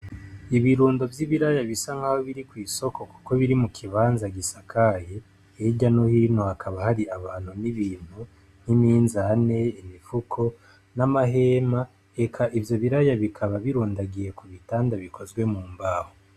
ibirundo vy'ibiraya bisa nkaho biri kw'isoko kuko bir mu kibanza gisakaye, hirya no hino hakaba hari abantu n'ibintu n'iminzane, imifuko n'amahema eka ivyo biraya bikaba birundagiye ku bitanda bikozwe mu mbaho.